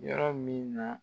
Yɔrɔ min na